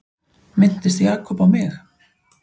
Minntist Jakob á mig?